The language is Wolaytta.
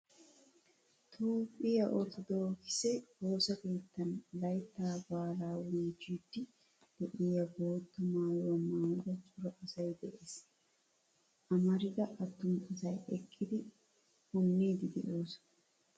Toophphiyaa orttodokise woosaa keettan layttaa baalaa bochchidi deiyaa boottaa maayuwaa maayida cora asay de'ees. Amaridda attuma asay eqqidi punnidi deosona.